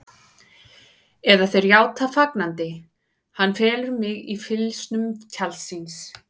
Eða þeir játa fagnandi: Hann felur mig í fylgsnum tjalds síns.